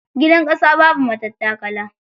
Gidan ƙasa babu matattakala.